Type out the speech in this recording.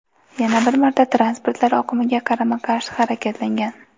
yana bir marta transportlar oqimiga qarama-qarshi harakatlangan.